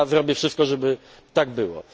Zrobię wszystko, żeby tak